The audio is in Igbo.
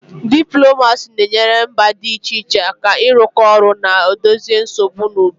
Diplomacy na-enyere mba dị iche iche aka ịrụkọ ọrụ ọnụ na dozie nsogbu n'udo